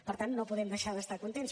per tant no podem deixar d’estar contents